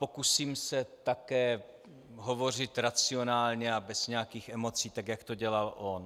Pokusím se také hovořit racionálně a bez nějakých emocí, tak jak to dělal on.